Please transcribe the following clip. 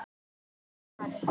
Ragna er farin.